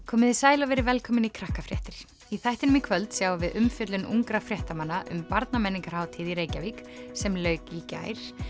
komiði sæl og verið velkomin í Krakkafréttir í þættinum í kvöld sjáum við umfjöllun ungra fréttamanna um í Reykjavík sem lauk í gær